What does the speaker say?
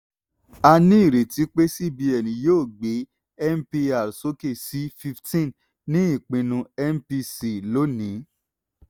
a ní ìrètí pé cbn yóò gbé mpr sókè sí fifteen ní ipinnu mpc lónìí.